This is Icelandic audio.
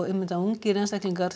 að ungir einstaklingar